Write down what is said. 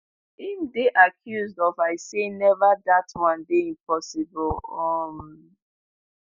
im dey accused of i say never dat one dey impossible um